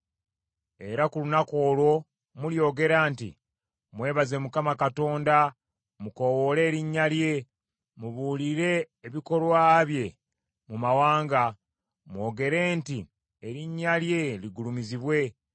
Era ku lunaku olwo mulyogera nti, “Mwebaze Mukama Katonda, mukoowoole erinnya lye, mubuulire ebikolwa bye mu mawanga, mwogere nti erinnya lye ligulumizibwe.